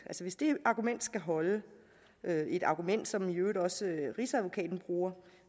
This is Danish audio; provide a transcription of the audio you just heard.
skal holde et argument som i øvrigt også rigsadvokaten bruger